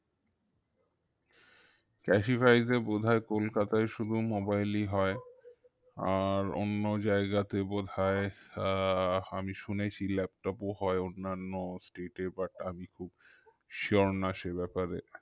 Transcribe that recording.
classify তে বোধয় কোলকাতায় শুধু mobile ই হয় আর অন্য জায়গাতে বোধয় আহ আমি শুনেছি laptop ও হয় অন্যান্য state এ but আমি খুব sure না সে ব্যাপারে